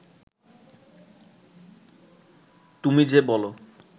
তুমি যে বল